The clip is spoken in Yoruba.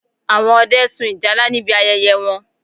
Àwọn Ọdẹ sun ìjálá níbi ayẹyẹ wọn